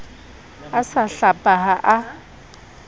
a sa hlapa ha a